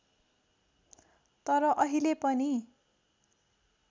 तर अहिले पनि